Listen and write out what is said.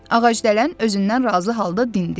Ağacdələn özündən razı halda dindi.